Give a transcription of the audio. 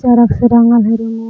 रंग से रंगल है रुमवा रूम --